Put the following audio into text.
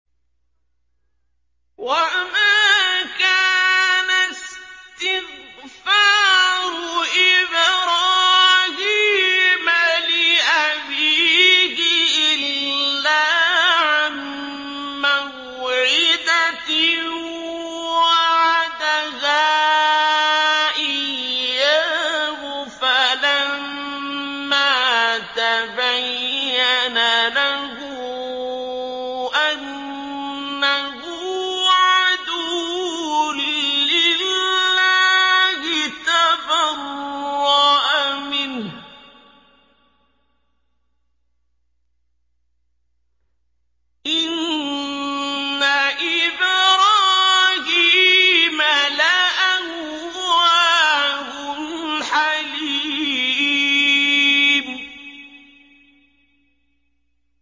وَمَا كَانَ اسْتِغْفَارُ إِبْرَاهِيمَ لِأَبِيهِ إِلَّا عَن مَّوْعِدَةٍ وَعَدَهَا إِيَّاهُ فَلَمَّا تَبَيَّنَ لَهُ أَنَّهُ عَدُوٌّ لِّلَّهِ تَبَرَّأَ مِنْهُ ۚ إِنَّ إِبْرَاهِيمَ لَأَوَّاهٌ حَلِيمٌ